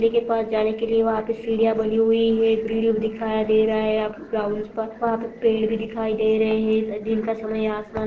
के पास जाने के लिए वहा पे सिडिया बनी हुई है एक ग्रिल दिखाई दे रहा है वहा पे पेड़ भी दिखाई दे रहे है दिन का समय आसमान--